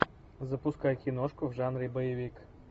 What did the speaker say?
запускай киношку в жанре боевик